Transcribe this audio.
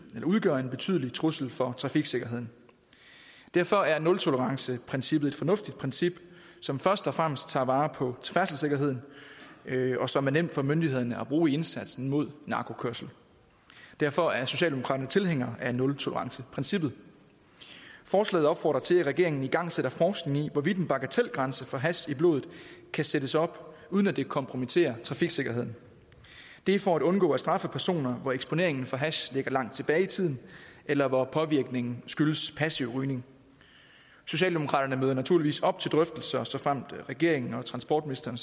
udgør en betydelig trussel for trafiksikkerheden derfor er nultoleranceprincippet et fornuftigt princip som først og fremmest tager vare på færdselssikkerheden og som er nemt for myndighederne at bruge i indsatsen mod narkokørsel derfor er socialdemokraterne tilhængere af nultoleranceprincippet forslaget opfordrer til at regeringen igangsætter forskning i hvorvidt en bagatelgrænse for hash i blodet kan sættes op uden at det kompromitterer trafiksikkerhed det er for at undgå at straffe personer hvor eksponeringen for hash ligger langt tilbage i tiden eller hvor påvirkningen skyldes passiv rygning socialdemokraterne møder naturligvis op til drøftelser såfremt regeringen og transportministeren